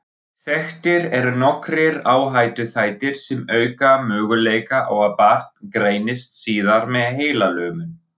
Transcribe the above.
Þekktir eru nokkrir áhættuþættir sem auka möguleika á að barn greinist síðar með heilalömun.